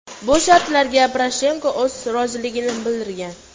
Bu shartlarga Poroshenko o‘z roziligini bildirgan.